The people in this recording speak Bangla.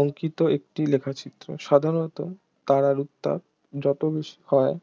অঙ্কিত একটি লেখচিত্র সাধারণত তারার উত্তাপ যত বেশি হয়